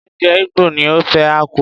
Oúnjẹ Igbo ni ofe akwu.